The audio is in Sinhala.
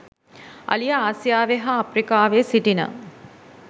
අලියා ආසියාවේ හා අප්‍රිකාවේ සිටින